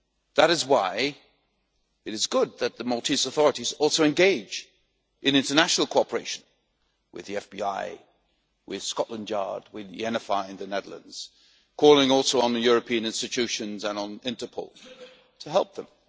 That is why it is good that the Maltese authorities also engage in international cooperation with the FBI, with Scotland Yard, with the NFI in the Netherlands, calling also on the European institutions and on Interpol to help them.